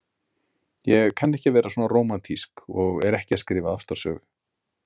Ég kann ekki að vera svona rómantísk og er ekki að skrifa ástarsögu.